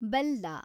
ಬೆಲ್ಲ